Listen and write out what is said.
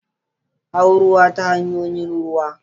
Hau ruwa ta hanyoyin ruwa.